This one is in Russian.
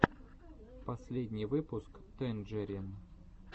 последний выпуск тэнджерин